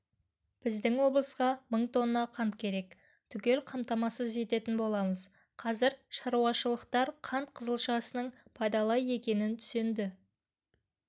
біздің облысқа мың тонна қант керек түгел қамтамасыз ететін боламыз қазір шаруашылықтарқант қызылшасының пайдалы екенін түсінді